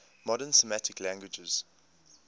modern semitic languages